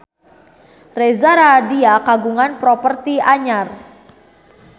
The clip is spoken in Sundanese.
Reza Rahardian kagungan properti anyar